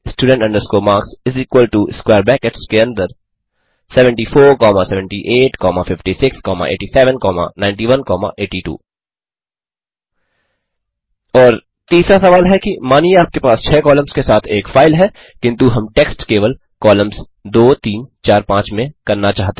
student marks इस equal to square brackets के अंदर 747856879182 और तीसरा सवाल है कि मानिए आपके पास 6 कॉलम्स के साथ एक फाइल है किन्तु हम टेक्स्ट केवल कॉलम्स 2345 में करना चाहते हैं